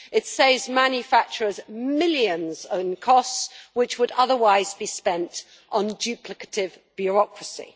It saves manufacturers millions in costs which would otherwise be spent on duplicative bureaucracy.